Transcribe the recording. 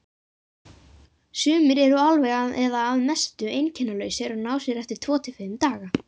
Sumir eru alveg eða að mestu einkennalausir og ná sér eftir tvo til fimm daga.